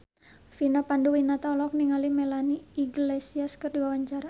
Vina Panduwinata olohok ningali Melanie Iglesias keur diwawancara